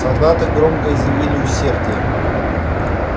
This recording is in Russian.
солдаты громко изъявили усердие